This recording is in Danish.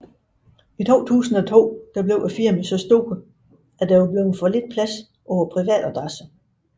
I 2002 blev firmaet så stor at der var blevet for lidt plads på privatadresse